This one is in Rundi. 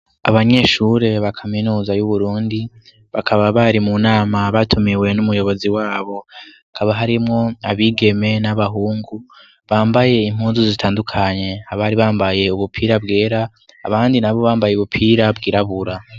Abanyeshure ba kaminuza y'Uburundi, bakaba bari mu nama batumiwe n'umuyobozi wabo, hakaba harimwo abigeme n'abahungu bambaye impunzu zitandukanye ,abari bambaye ubupira bwera abandi na bo bambaye ubupira bwirabura.